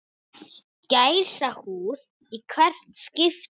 Gæsahúð í hvert skipti.